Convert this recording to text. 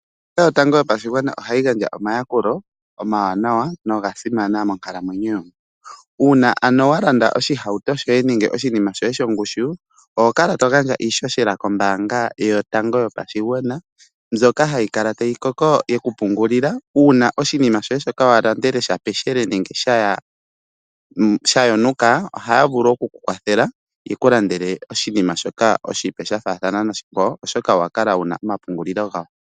Ombaanga yotango yopashigwana ohayi gandja omayakulo omawanawa nogasimana monkalamwenyo yomuntu, uuna ano wa landa oshihauto shoye nenge oshinima shoye shongushu oho kala to gandja iishoshela kombaanga yotango yopashigwana mbyoka hayi kala tayi koko, ye kupungulila uuna oshinima shoye shoka walandele shapeshelele nenge sha yonika ohaya vulu oku ku kwathela ye kulandele oshinima oshipe sha faathana noshikwawo oshoka owa kala wuna omapungulilo gawo.